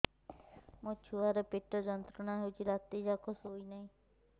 ମୋ ଛୁଆର ପେଟ ଯନ୍ତ୍ରଣା ହେଉଛି ରାତି ଯାକ ଶୋଇନାହିଁ